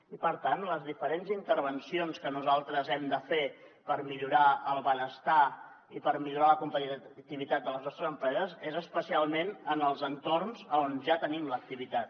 i per tant les diferents intervencions que nosaltres hem de fer per millorar el benestar i per millorar la competitivitat de les nostres empreses són especialment en els entorns on ja tenim l’activitat